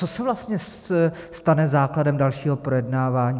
Co se vlastně stane základem dalšího projednávání?